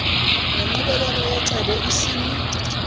nenqubekela yecebo isimi